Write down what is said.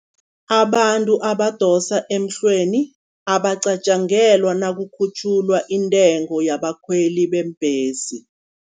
Abantu abadosa emhlweni, abacatjangelwa nakukhutjhulwa intengo yabakhweli beembhesi.